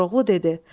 Koroğlu dedi: